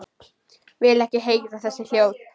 Vil ekki heyra þessi hljóð.